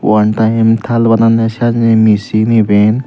wan taem tal bananne senne misin iben.